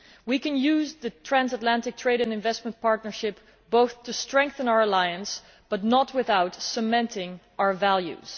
We can use the Transatlantic Trade and Investment Partnership to strengthen our alliance, but not without cementing our values.